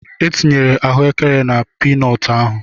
E tinyere ahụekere na pii nọọtụ ahụ.